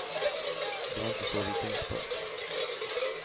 Det var inte så vi tänkte på det.